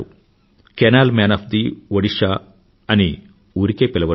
carnal man of the Odisha అని ఊరికే పిలవరు